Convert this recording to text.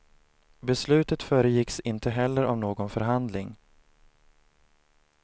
Beslutet föregicks inte heller av någon förhandling.